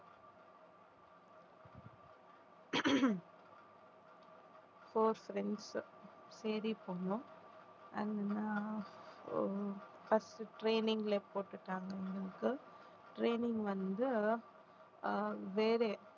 ஹம் four friends தேடி போனோம் அங்க first training ல போட்டுட்டாங்க எங்களுக்கு training வந்து, ஆஹ் வேற